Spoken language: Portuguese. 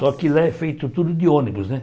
Só que lá é feito tudo de ônibus, né?